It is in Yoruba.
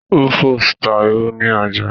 Rufus ta ìrù ní ọjà